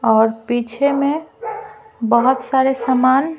और पीछे में बहुत सारे सामान --